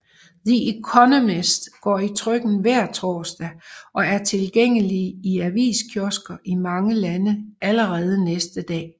The Economist går i trykken hver torsdag og er tilgængelig i aviskiosker i mange lande allerede næste dag